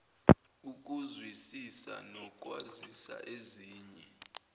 ukuzwisisa nokwazisa ezinye